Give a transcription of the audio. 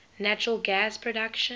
natural gas production